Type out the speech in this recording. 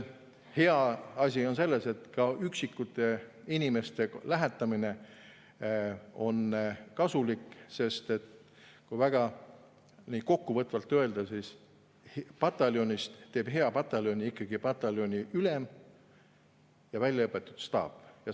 Hea asi on see, et ka üksikute inimeste lähetamine on kasulik, sest kui väga kokkuvõtvalt öelda, siis pataljonist teevad hea pataljoni ikkagi pataljoniülem ja väljaõpetatud staap.